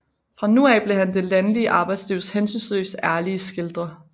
Fra nu af blev han det landlige arbejdslivs hensynsløst ærlige skildrer